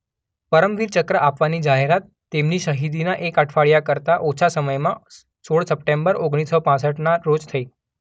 પરમવીર ચક્ર આપવાની જાહેરાત તેમની શહીદીના એક અઠવાડિઆ કરતા ઓછા સમયમાં સોળ સપ્ટેમ્બર ઓગણીસ સો પાંસઠના રોજ થઈ.